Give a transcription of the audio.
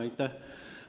Aitäh!